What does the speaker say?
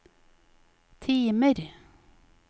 timer